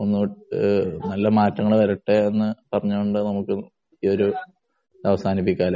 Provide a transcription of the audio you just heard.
ഒന്ന് കൂടെ നല്ല മാറ്റങ്ങള്‍ വരട്ടെ എന്ന് പറഞ്ഞു കൊണ്ട് ഈ ഒരു ഇത് അവസാനിപ്പിക്കാം. അല്ലേ